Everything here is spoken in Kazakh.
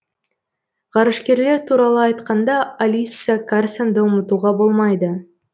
ғарышкерлер туралы айтқанда алисса карсонды ұмытуға болмайды